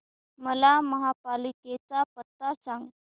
मला महापालिकेचा पत्ता सांग